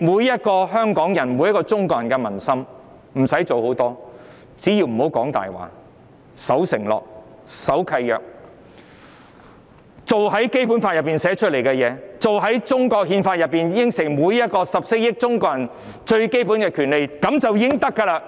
想贏盡香港人和中國人的民心，不用做太多事，只要別說謊、守承諾、守契約，落實《基本法》訂定的條文，落實中華人民共和國憲法上承諾給予14億中國人最基本的權利，便會贏得民心。